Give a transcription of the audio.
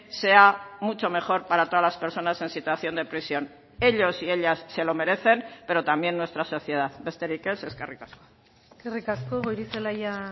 sea mucho mejor para todas las personas en situación de prisión ellos y ellas se lo merecen pero también nuestra sociedad besterik ez eskerrik asko eskerrik asko goirizelaia